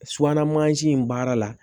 Subahana mansin in baara la